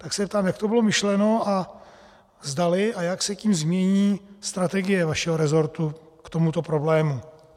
Tak se ptám, jak to bylo myšleno a zdali a jak se tím změní strategie vašeho resortu k tomuto problému.